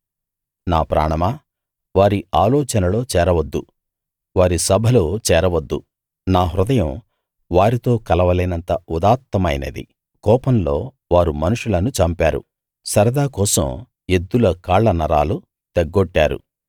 నా ప్రాణమా వారి ఆలోచనలో చేరవద్దు వారి సభలో చేరవద్దు నా హృదయం వారితో కలవలేనంత ఉదాత్తమైనది కోపంలో వారు మనుషులను చంపారు సరదా కోసం ఎద్దుల కాళ్ళ నరాలు తెగ్గొట్టారు